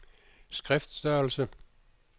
skriftstørrelse